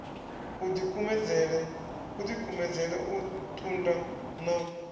u dikumedzele u tunda na